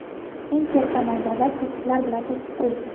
eng katta maydonlar to‘siqlar bilan to‘sib qo‘yilgan.